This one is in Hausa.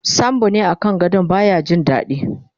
sambo ne a kan gadon baya Jin daɗi